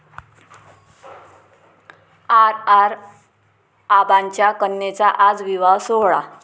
R. R. आबांच्या कन्येचा आज विवाह सोहळा